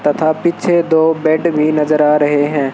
तथा पीछे दो बेड भी नजर आ रहे हैं।